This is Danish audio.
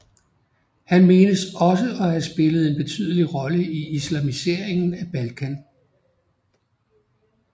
Han menes også at have spillet en betydelig rolle i islamiseringen af Balkan